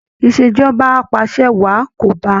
ìṣèjọba apàṣẹwàá kò bá